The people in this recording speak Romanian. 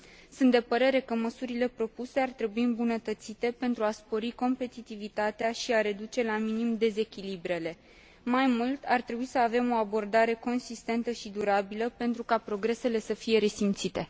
Sunt de părere că măsurile propuse ar trebui îmbunătățite pentru a spori competitivitatea și a reduce la minim dezechilibrele. Mai mult, ar trebui să avem o abordare consistentă și durabilă pentru ca progresele să fie resimțite.